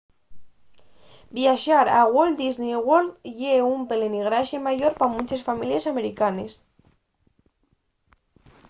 viaxar a walt disney world ye un pelegrinaxe mayor pa munches families americanes